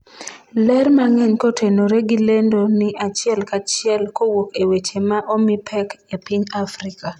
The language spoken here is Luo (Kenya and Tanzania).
ler mang'eny kotenore gi lendo ni achiel kachiel kowuok e weche ma omi pek e piny Afrika